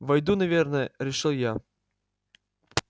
войду наверное решил я